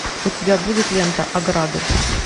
у тебя будет лента ограды